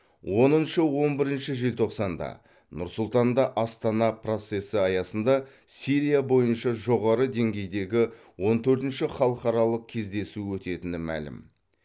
оныншы он бірінші желтоқсанда нұр сұлтанда астана процесі аясында сирия бойынша жоғары деңгейдегі он төртінші халықаралық кездесу өтетіні мәлім